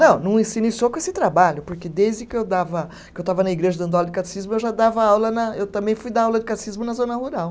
Não, não e se iniciou com esse trabalho, porque desde que eu dava, que eu estava na igreja dando aula de catecismo, eu já dava aula na, eu também fui dar aula de catecismo na zona rural.